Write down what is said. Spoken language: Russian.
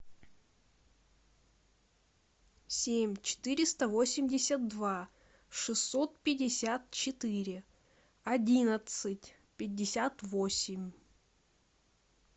семь четыреста восемьдесят два шестьсот пятьдесят четыре одиннадцать пятьдесят восемь